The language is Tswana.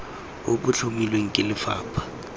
bo bo tlhomilweng ke lefapha